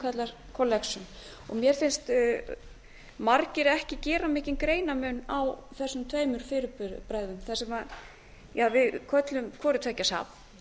kallast collection mér finnst margir ekki gera mikinn greinarmun á þessum tveimur fyrirbærum þar sem við köllum hvoru tveggja safn